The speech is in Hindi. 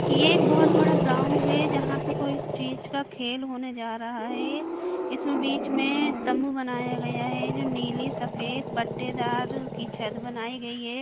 ये एक बहुत बड़ा ग्राउंड है जहाँ पे कोई चीज का खेल होने जा रहा है इसमें बीच में तंबू बनाया गया है जो नीली सफेद पट्टेदार की छत बनाई गई है|